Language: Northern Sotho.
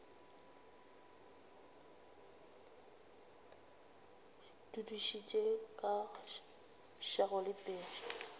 dudišitše ka šago le tee